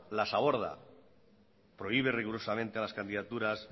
las aborda prohíbe rigurosamente a las candidaturas